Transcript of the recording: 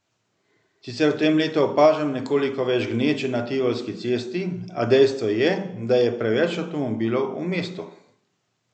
Sicer v tem letu opažam nekoliko več gneče na Tivolski cesti, a dejstvo je, da je preveč avtomobilov v mestu.